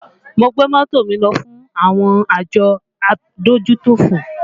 Mo gbé mọ́tò mi lọ fún àwọn àjọ adójútòfò